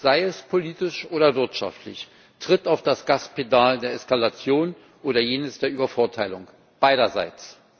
sei es politisch oder wirtschaftlich, tritt auf das Gaspedal der Eskalation oder jenes der Übervorteilung, beiderseits.